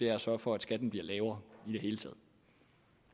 er at sørge for at skatten bliver lavere